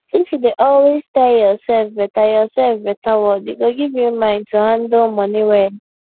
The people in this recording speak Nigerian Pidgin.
if you dey always tell yourself better yourself better word e go give you mind to handle money well